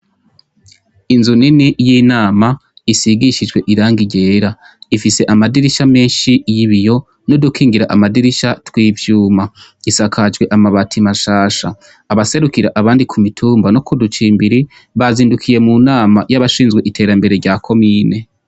Inzu nini y'inama isigishijwe irangi ryera. Ifise amadirisha menshi y'ibiyo, n'udukongira amadirisha tw'ivyuma. Isakajwe amabati mashasha. Abaserukira abandi ku mitumba no ku ducimbiri, bazindukiye mu nama y'abashinzwe iterambere rya komine.